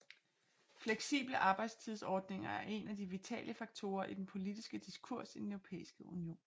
Fleksible arbejdstidsordninger er en af de vitale faktorer i den politiske diskurs i Den Europæiske Union